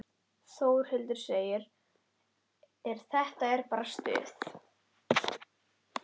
Þórhildur: Þetta er bara stuð?